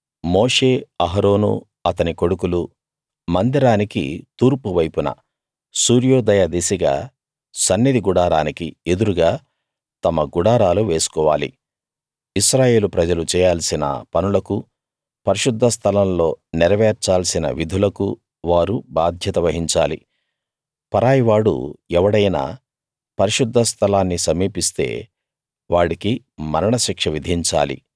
మోషే అహరోనూ అతని కొడుకులూ మందిరానికి తూర్పు వైపున సూర్యోదయ దిశగా సన్నిధి గుడారానికి ఎదురుగా తమ గుడారాలు వేసుకోవాలి ఇశ్రాయేలు ప్రజలు చేయాల్సిన పనులకూ పరిశుద్ధ స్థలంలో నెరవేర్చాల్సిన విధులకూ వారు బాధ్యత వహించాలి పరాయి వాడు ఎవడైనా పరిశుద్ధ స్థలాన్ని సమీపిస్తే వాడికి మరణ శిక్ష విధించాలి